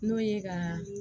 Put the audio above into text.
N'o ye ka